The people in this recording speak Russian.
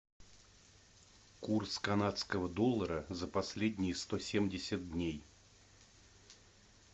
курс канадского доллара за последние сто семьдесят дней